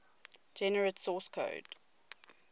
generate source code